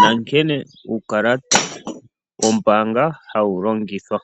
nankene uukalata wombaanga hawu longithwa.